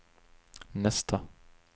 nästa